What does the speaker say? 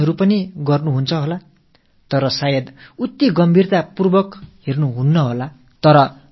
இவை போன்ற கடிதங்கள் உங்களுக்கும் வந்திருக்கலாம் ஆனால் நீங்கள் அவற்றின் மீது அதிக கவனம் செலுத்தாமல் இருந்திருக்கலாம்